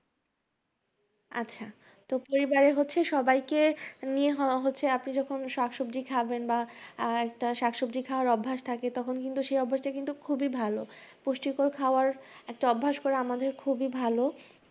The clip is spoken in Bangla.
আচ্ছা তো পরিবারের হচ্ছে সবাইকে নিয়ে হওয়া হচ্ছে আপনি যখন শাক সবজি খাবেন বা আহ একটা শাকসবজি খাওয়ার অভ্যাস থাকে তখন কিন্তু সেই অভ্যাসটা কিন্তু খুবই ভালো। পুষ্টিকর খাওয়ার একটা অভ্যাস করা আমাদের খুবই ভালো